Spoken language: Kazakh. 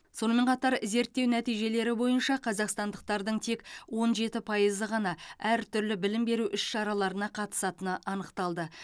сонымен қатар зерттеу нәтижелері бойынша қазақстандықтардың тек он жеті пайызы ғана әртүрлі білім беру іс шараларына қатысатыны анықталды